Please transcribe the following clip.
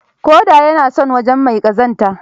Ƙuda ya na son wajen mai ƙazanta.